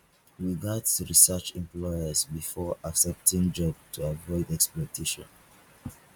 we gats research employers before accepting job to avoid exploitation